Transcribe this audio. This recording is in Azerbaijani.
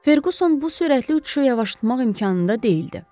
Ferquson bu sürətli uçuşu yavaşlatmaq imkanında deyildi.